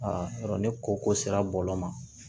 yɔrɔ ni koko sera bɔlɔlɔ ma